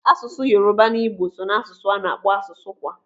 Asụsụ Yoruba na Igbo so n'asụsụ a na-akpọ asụsụ "kwa".